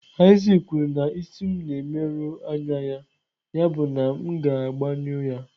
Isaac kwuru na isi m na-emerụ anya ya, yabụ na m ga-agbanyụ ya.